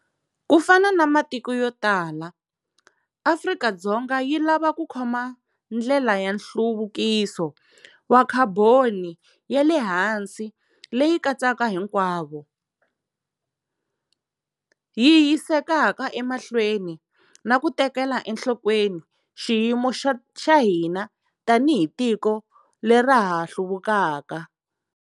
Ku fana na matiko yo tala, Afrika-Dzonga yi lava ku khoma ndlela ya nhluvukiso wa khaboni ya le hansi leyi katsaka hinkwavo, yi yisekaka emahlweni na ku tekela enhlokweni xiyimo xa hina tanihi tiko lera ra ha hluvukaka.